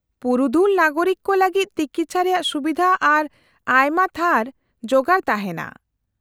-ᱯᱩᱨᱩᱫᱷᱩᱞ ᱱᱟᱜᱚᱨᱤᱠ ᱠᱚ ᱞᱟᱹᱜᱤᱫ ᱛᱤᱠᱤᱪᱷᱟ ᱨᱮᱭᱟᱜ ᱥᱩᱵᱤᱫᱷᱟ ᱟᱨ ᱟᱭᱢᱟ ᱛᱷᱟᱨ ᱡᱚᱜᱟᱲ ᱛᱟᱦᱮᱱᱟ ᱾